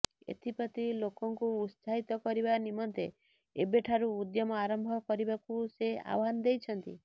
ଏଥିପ୍ରତି ଲୋକଙ୍କୁ ଉତ୍ସାହିତ କରିବା ନିମନ୍ତେ ଏବେଠାରୁ ଉଦ୍ୟମ ଆରମ୍ଭ କରିବାକୁ ସେ ଆହ୍ୱାନ ଦେଇଛନ୍ତି